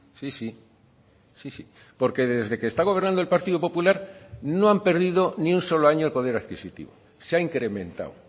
sí sí porque desde que está gobernando el partido popular no han perdido ni un solo año el poder adquisitivo se ha incrementado